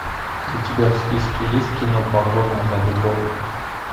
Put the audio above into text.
у тебя в списке есть кино погоня за любовью